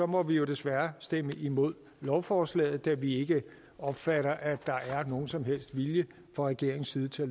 må vi jo desværre stemme imod lovforslaget da vi ikke opfatter at der er nogen som helst vilje fra regeringens side til at